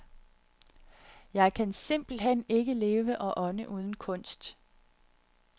Jeg kan simpelthen ikke leve og ånde uden kunst.